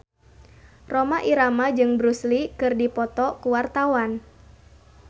Rhoma Irama jeung Bruce Lee keur dipoto ku wartawan